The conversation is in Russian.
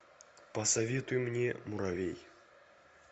посоветуй мне муравей